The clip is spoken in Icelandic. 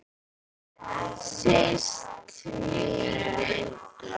Síst minni.